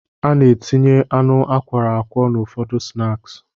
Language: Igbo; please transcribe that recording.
A na-etinye anụ akwọrọ akwọ n'ụfọdụ snaaksi.